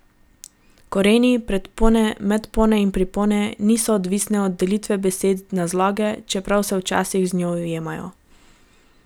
Koreni, predpone, medpone in pripone niso odvisne od delitve besede na zloge, čeprav se včasih z njo ujemajo.